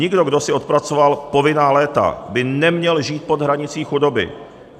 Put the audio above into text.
Nikdo, kdo si odpracoval povinná léta, by neměl žít pod hranicí chudoby.